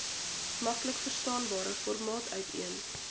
maklikverstaanbare formaat uiteen